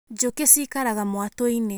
Njũkĩ ciikaraga mwatu-inĩ.